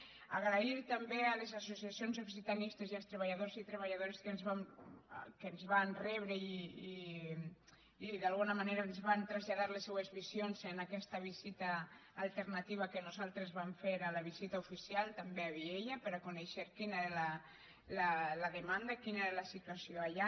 donar les gràcies també a les associacions occitanistes i als treballadors i treballadores que ens van rebre i d’alguna manera ens van traslladar les seues visions en aquesta visita alternativa que nosaltres vam fer a la visita oficial també a viella per a conèixer quina era la demanda quina era la situació allà